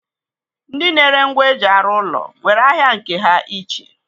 Ndi na-ere ngwa eji arụ ụlọ nwere ahịa nke ha iche.